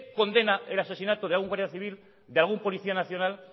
condena el asesinato de algún guardia civil de algún policía nacional